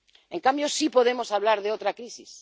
En cambio, sí podemos hablar de otra crisis.